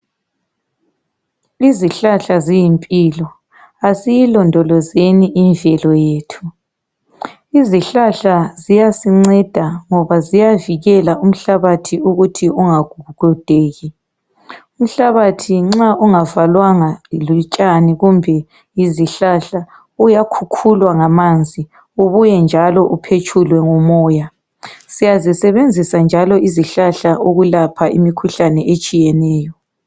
Izihlahla ziyimpilo asiyilondolozeni imvelo yethu. Izihlahla ziyasinceda ngoba ziyavikela umhlabathi ukuthi ungagugudeki. Umhlabathi nxa ungavalwanga butshani kumbe izihlahla uyakhukhulwa ngamanzi ubuye njalo uphetshulwe ngumoya. Siyazisebenzisa njalo izihlahla ukulapha imikhuhlane etshiyeneyo